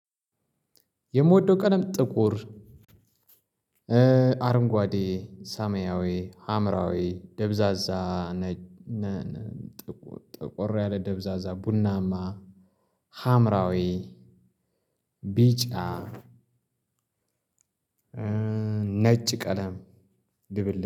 የምወደው ቀለም ጥቁር አረንጓዴ ሰማያዌ ሀምራዌ ደብዛዛ ነጭ ጠቆር ያለ ደብዛዛ ቡናማ ሀምራዊ ቢጫ። ነጭ ቀለም ድብልቅ